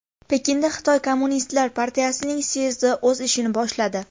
Pekinda Xitoy Kommunistlar partiyasining syezdi o‘z ishini boshladi.